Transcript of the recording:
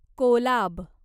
Kolab